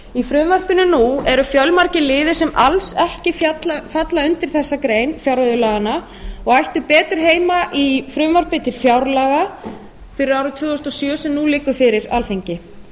í frumvarpinu nú eru fjölmargir liðir sem alls ekki falla undir þessa grein fjárreiðulaganna og ættu betur heima í frumvarpi til fjárlaga fyrir árið tvö þúsund og sjö sem nú liggur fyrir alþingi